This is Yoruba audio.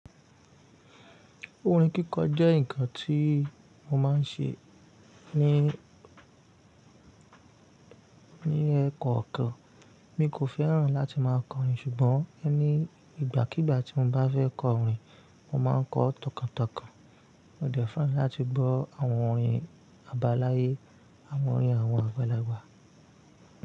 Orin kíkọ jẹ́ nǹkan tí mo máa ń ṣe ní, ní ẹkan kàn. Mi kò fẹ́ràn láti máa kọ rin ṣùgbọ́n ni ìgbàkígbà tí mo bá fẹ́ kọ orin, mo máa ń kọ tọkàntọkàn. Mo dẹ́fà láti gbọ́ àwọn orin àbáláyé àwọn orin àwọn àgbàlagbà.